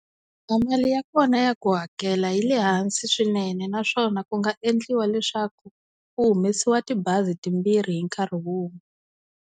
A mali ya kona ya ku hakela yi le hansi swinene naswona ku nga endliwa leswaku ku humesiwa tibazi timbirhi hi nkarhi wun'we.